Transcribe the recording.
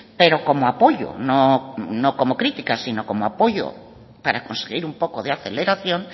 pero como apoyo no como crítica sino como apoyo para conseguir un poco de aceleración